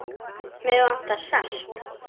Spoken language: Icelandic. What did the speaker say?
Mig vantar salt.